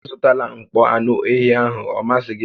Azụtala mkpọ anụ ehi ahụ, ọ masịghị m!